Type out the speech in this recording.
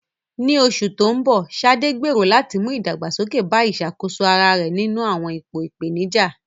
Ní oṣù tó ń bọ̀, Sade gbèrò láti mú ìdàgbàsókè bá ìṣàkóso ara rẹ̀ nínú àwọn ipò ìpèníjà.